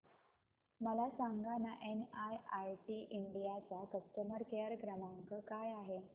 मला सांगाना NIIT India चा कस्टमर केअर क्रमांक काय आहे